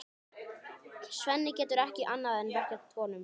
Svenni getur ekki annað en vorkennt honum.